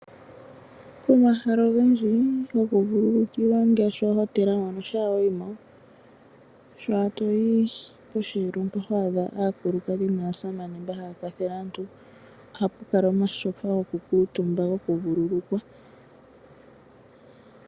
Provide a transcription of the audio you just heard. Omahala ogendji gokuvululikilwa ngashi oohotela mpono shaa wa yi mo, sha toyi poshelo mpa hwadha aakulukadhi naasamane mba haya kwathele aantu, oha pukala omashofa gokukutumba gokuvululukwa.